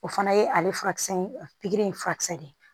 O fana ye ale furakisɛ ye pikiri ye furakisɛ de ye